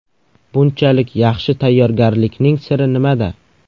Bunchalik yaxshi tayyorgarlikning siri nimada?